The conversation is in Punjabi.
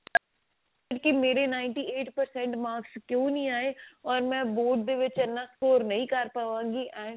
ਕੀ ਮੇਰੇ ninety eight percent marks ਕਿਉ ਨਹੀ ਆਏ ਓਰ ਮੈਂ board ਦੇ ਵਿੱਚ ਇੰਨਾ score ਨਹੀ ਕਰ ਪਾਵਾਂਗੀ and